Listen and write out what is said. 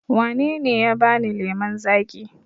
Wa na ne ya ba ni lemon zaƙi